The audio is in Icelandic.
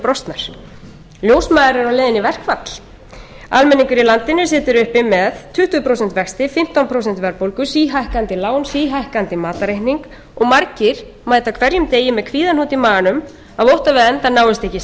brostnar ljósmæður eru á leiðinni í verkfall almenningur í landinu situr uppi með tuttugu prósent vexti fimmtán prósent verðbólgu síhækkandi lán síhækkandi matarreikning og margir mæta hverjum degi með kvíðahnút i maganum af ótta við að endar náist ekki saman ísskápurinn verði tómur um miðjan